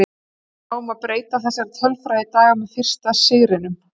Náum við að breyta þessari tölfræði í dag með fyrsta sigrinum?